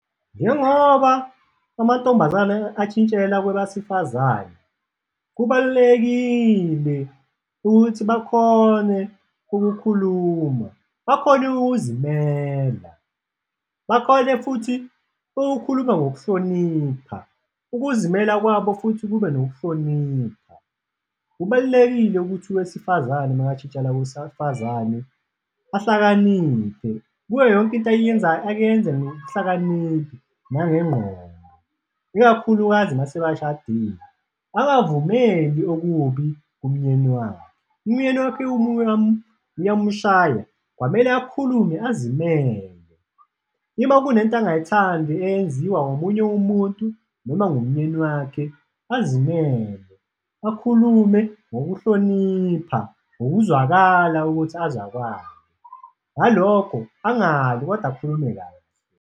Njengoba amantombazane ashintshela kwebasifazane, kubalulekile ukuthi bakhone ukukhuluma, bakhone ukuzimela bakhone futhi ukukhuluma ngokuhlonipha, ukuzimela kwabo futhi kube nokuhlonipha. Kubalulekile ukuthi wesifazane makashintshela kusafazane ahlakaniphe, kuyo yonke into ayiyenzayo, ayiyenze ngokuhlakaniphi nangengqondo, ikakhulukazi mase bashadile, angavumeli okubi kumnyeni wakhe. Umnyeni wakhe uyamushaya, kwamele akhulume azimele, ima kunento angayithandi eyenziwa omunye umuntu noma ngumnyeni wakhe, azimele, akhulume ngokuhlonipha, ngokuzwakala ukuthi azwakale, ngalokho angalwi kodwa akhulume kahle.